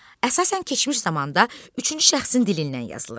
Əsasən keçmiş zamanda üçüncü şəxsin dilindən yazılır.